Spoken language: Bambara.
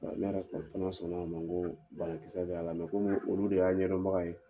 Ne yɛrɛ fɛ banakisɛ de b'a olu de y'a ɲɛdɔnbaga ye.